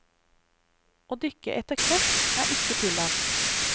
Å dykke etter kreps er ikke tillatt.